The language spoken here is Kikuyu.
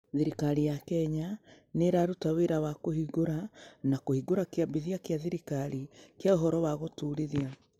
Thirikari ya Kenya nĩ ĩraruta wĩra wa kũhingũra na kũhingũra Kĩambithia kĩa Thirikari kĩa Ũhoro wa Gũtũũrithia